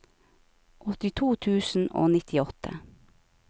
åttito tusen og nittiåtte